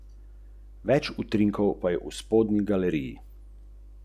Ja, seveda.